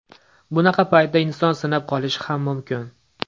Bunaqa paytda inson sinib qolishi ham mumkin.